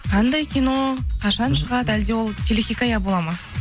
қандай кино қашан шығады әлде ол телехикая болады ма